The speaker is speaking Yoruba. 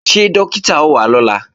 Ṣé Dókítà ó wá lọ́la?